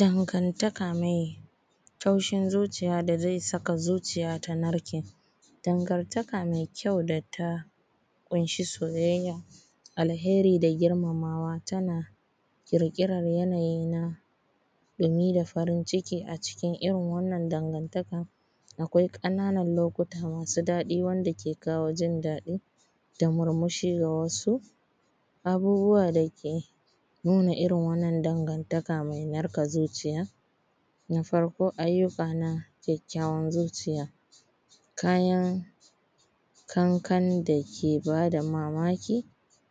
Dangantaka mai taushin zuciya da zai saka zuciya tanarke dangantaka mai kyau da ta ƙunshi soyayya alheri da girmamawa tana ƙirƙirar yanayi na ɗumi da farin ciki a cikin irin wannan dangantaka akwai ƙananan lokuta masu daɗi wanda ke kawo jin daɗi da murmushi da wasu abubuwa dake nuna irin wannan dangantaka mai narka zuciya na farko, aiyuka na kyakkyawan zuciya, kayan kanka dake bada mamaki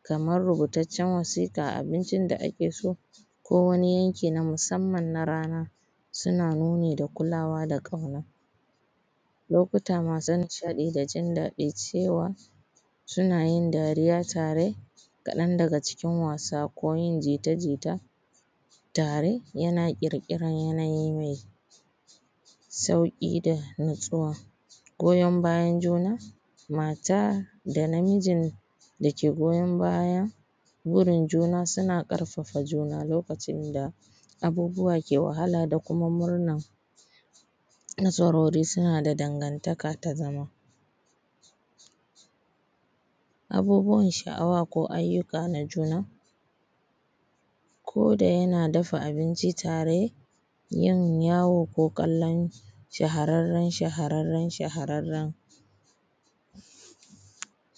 kamar rubutaccen wasiƙa abincin da ake so ko wani yanki na musamman na rana suna nuni da kulawa da kauna.. Lokuta masu nishaɗi da jin daɗin cewa suna yin dariya tare kaɗan daga cikin wasa ko yin jita jita tare yana ƙirƙiran yanayi mai sauƙi da natsuwa goyan bayan juna mata da namijin dake goyan baya gurin juna suna ƙarfafa juna lokacin da abubuwa ke wahala da kuma murna, nasarori suna da dangantaka na zama abubuwan sha`awa ko aiyuka na juna ko da yana dafa abinci tare, yin yawo ko kalon shahararran shaharanran shaharanran.